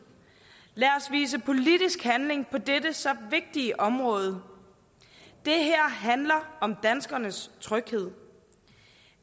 lad os vise politisk handling på dette så vigtige område det her handler om danskernes tryghed